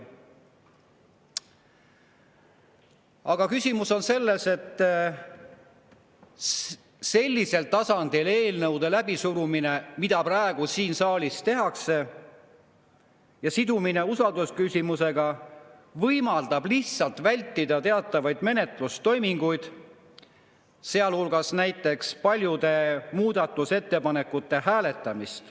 Aga küsimus on selles, et niisugusel moel eelnõude läbisurumine, nagu seda praegu siin saalis tehakse, see sidumine usaldusküsimusega võimaldab lihtsalt vältida teatavaid menetlustoiminguid, sealhulgas paljude muudatusettepanekute hääletamist.